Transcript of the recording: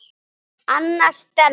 Anna Stella.